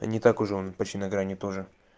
та не так уж он почти на грани тоже